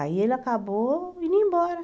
Aí ele acabou indo embora.